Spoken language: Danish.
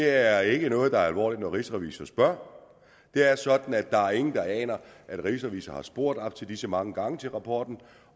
er ikke noget der er alvorligt når rigsrevisor spørger det er sådan at der er ingen der aner at rigsrevisor har spurgt op til disse mange gange til rapporten